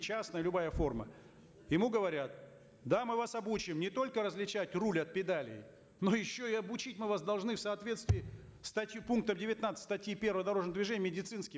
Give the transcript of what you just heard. частная любая форма ему говорят да мы вас обучим не только различать руль от педали но еще и обучить мы вас должны в соответствии статьи пункта девятнадцать статьи первой дорожного движения медицинским